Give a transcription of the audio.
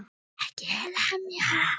EKKI LEMJA!